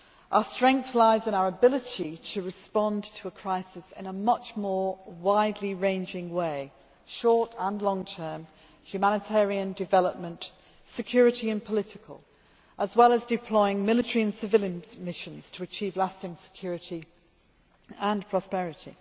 Our strength lies in our ability to respond to a crisis in a much more widely ranging way, short and long term, humanitarian development, security and political, as well as deploying military and civilian missions to achieve lasting security and prosperity.